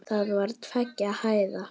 Það var tveggja hæða.